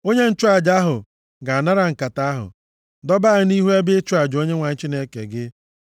Onye nchụaja ahụ ga-anara nkata ahụ, dọba ya nʼihu ebe ịchụ aja Onyenwe anyị Chineke gị.